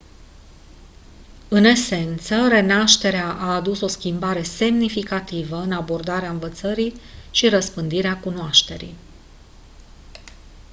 în esență renașterea a adus o schimbare semnificativă în abordarea învățării și răspândirea cunoașterii